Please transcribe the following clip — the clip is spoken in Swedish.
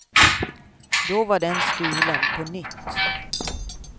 Då var den stulen på nytt.